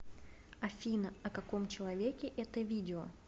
афина о каком человеке это видео